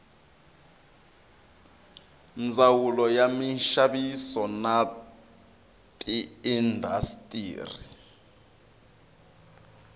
ndzawulo ya minxaviso na tiindastri